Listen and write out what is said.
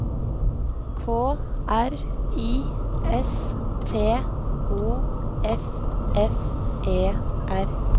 K R I S T O F F E R